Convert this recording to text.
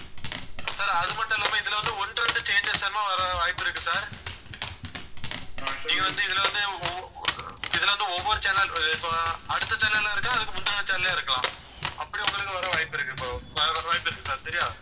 sir அது மட்டும் இல்லாம இதில வந்து ஒண்ணு ரெண்டு changes வர வாய்ப்பு இருக்கு sir நீங்க வந்து இதில வந்து ஒவ்~ இதில வந்து ஒவ்வொரு channel இப்ப அடுத்த channel ஆ இருக்கலாம் அதுக்கு முந்தின channel ஆ இருக்கலாம். அப்படி உங்களுக்கு வர வாய்ப்பிருக்கு இப்போ வாய்ப்பு இருக்கு sir சரியா?